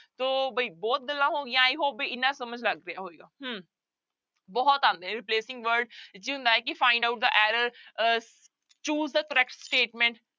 ਤੋ ਬਈ ਬਹੁਤ ਗੱਲਾਂ ਹੋ ਗਈਆਂ i hope ਵੀ ਇੰਨਾ ਸਮਝ ਲੱਗ ਗਿਆ ਹੋਏਗੀ ਹਮ ਬਹੁਤ ਆਉਂਦੇ ਹੈ replacing word ਕੀ ਹੁੰਦਾ ਹੈ ਕਿ find out the error ਅਹ choose the correct statement